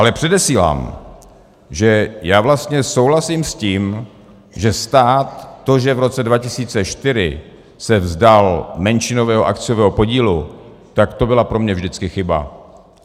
Ale předesílám, že já vlastně souhlasím s tím, že stát, to, že v roce 2004 se vzdal menšinového akciového podílu, tak to byla pro mě vždycky chyba.